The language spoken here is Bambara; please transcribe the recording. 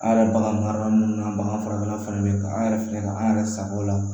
An yɛrɛ bagan marala minnu na bagan furakɛlaw fɛnɛ bɛ ka an yɛrɛ filɛ ka an yɛrɛ sago o la